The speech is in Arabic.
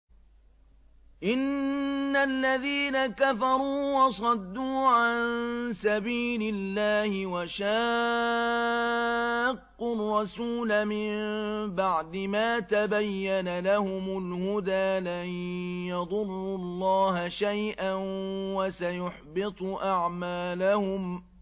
إِنَّ الَّذِينَ كَفَرُوا وَصَدُّوا عَن سَبِيلِ اللَّهِ وَشَاقُّوا الرَّسُولَ مِن بَعْدِ مَا تَبَيَّنَ لَهُمُ الْهُدَىٰ لَن يَضُرُّوا اللَّهَ شَيْئًا وَسَيُحْبِطُ أَعْمَالَهُمْ